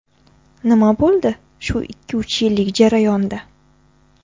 Nima bo‘ldi shu ikki-uch yillik jarayonda?